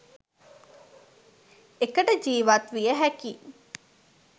එකට ජීවත් විය හැකි